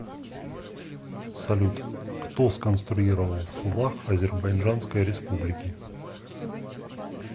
салют кто сконструировал флаг азербайджанской республики